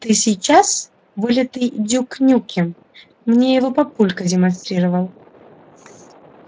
ты сейчас вылитый дюк нюкем мне его папулька демонстрировал